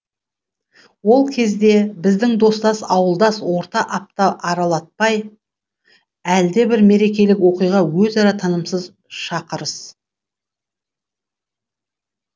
ол кезде біздің достас ауылдас орта апта аралатпай әлдебір мерекелік оқиға өзара тынымсыз шақырыс